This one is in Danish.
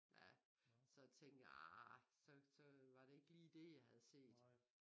Ja så tænkte jeg arrr så så var det ikke lige det jeg havde set